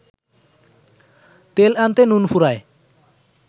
তেল আনতে নুন ফুরায়